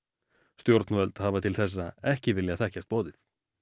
stjórnvöld hafa til þessa ekki viljað þekkjast boðið